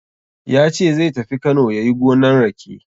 Ya ce zai tafi Kano yayi gonan rake.